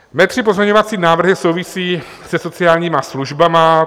Mé tři pozměňovací návrhy souvisí se sociálními službami.